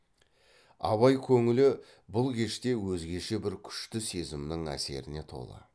абай көңілі бұл кеште өзгеше бір күшті сезімнің әсеріне толы